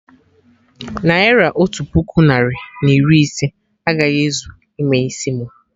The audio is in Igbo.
Naira otu puku narị na iri ise agaghị ezu ime isi mu